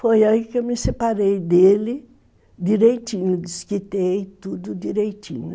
Foi aí que eu me separei dele direitinho, desquitei tudo direitinho.